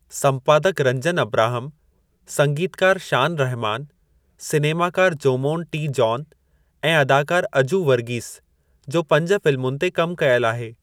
संपादकु Ranjan Abraham, संगीतकारु शान रहमान, सिनेमाकारु Jomon T. John ऐं अदाकारु अजू वर्गीस जो पंज फिल्मुनि ते कम कयलु आहे।